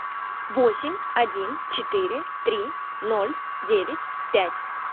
восемь один четыре три ноль девять пять